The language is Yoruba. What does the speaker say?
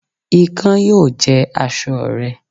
Ikán yóò jẹ aṣọ rẹ